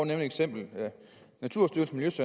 et eksempel naturstyrelsens